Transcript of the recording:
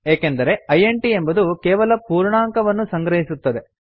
ಏಕೆಂದರೆ ಇಂಟ್ ಎಂಬುದು ಕೇವಲ ಪೂರ್ಣಾಂಕವನ್ನು ಸಂಗ್ರಹಿಸುತ್ತದೆ